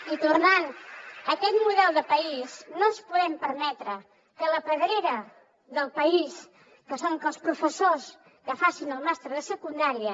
i tornant a aquest model de país no ens podem permetre que la pedrera del país que són els professors que facin el màster de secundària